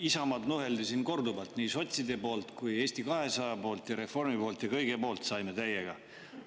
Isamaad nuheldi siin korduvalt nii sotside poolt, Eesti 200 poolt kui ka reformi poolt ja kõigilt saime täiega.